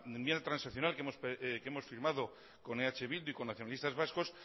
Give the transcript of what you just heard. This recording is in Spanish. enmienda transaccional que hemos firmado con eh bildu y con nacionalistas vascos